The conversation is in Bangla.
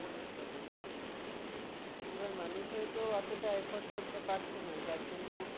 almost double এবার মানুষ হতো ওতোটা effort করতে পারছে না যার জন্য